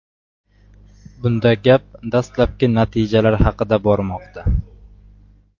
Bunda gap dastlabki natijalar haqida bormoqda.